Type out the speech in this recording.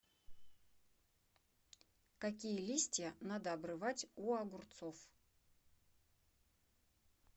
какие листья надо обрывать у огурцов